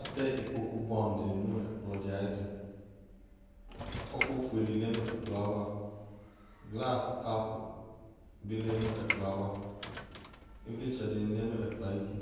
Atɛ ikpoku buɛ amu di nu ɛkplɔtu ɔku ofue di lɛ nu ɛkplɔ glasikɔpu bi lɛ nu ɛkplɔ ava ivlitsɛ dini lɛ nu ɛkplɔ ayuti